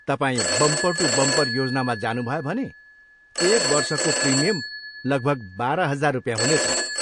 तपाईँ bumper to bumper योजनामा जानुभयो भने एक वर्षको प्रिमियम लगभग बाह्र हजार रुपियाँ हुनेछ।